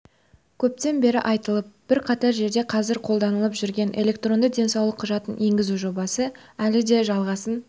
көптен бері айтылып бірқатар жерде қазір қолданылып жүрген электронды денсаулық құжатын енгізу жобасы әлі де жалғасын